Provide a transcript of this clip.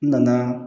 N nana